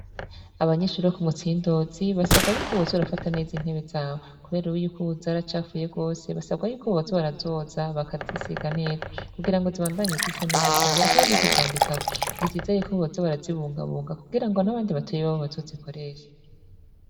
Abanyishuri ro ku mutsindozi basabwa yuko bozo brafata neza intebe zawo, kubera uwe yuko ubuzaracafuye rwose basabwa yuko bozo barazoza bakazisiga neza kugira ngo zibandanye zisa neza barekeko no kuzandikako, ntikizeye ko bozo barazibungabunga kugira ngo n'abandi batuye babo bazo zikoresha.